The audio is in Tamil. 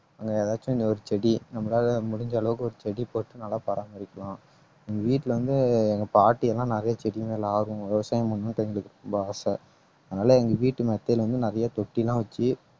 அங்க ஏதாச்சும் இந்த ஒரு செடி நம்மளால முடிஞ்ச அளவுக்கு ஒரு செடி போட்டு நல்லா பராமரிக்கலாம் உங்க வீட்டுல வந்து எங்க பாட்டி எல்லாம் நிறைய செடி மேல ஆர்வம் விவசாயம் பண்ணிட்டு எங்களுக்கு ரொம்ப ஆசை அதனால எங்க வீட்டு மெத்தையில வந்து நிறைய தொட்டியெல்லாம் வச்சு